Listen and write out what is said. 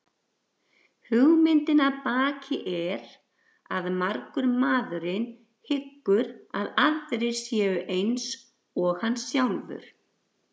Hugmyndin að baki er að margur maðurinn hyggur að aðrir séu eins og hann sjálfur.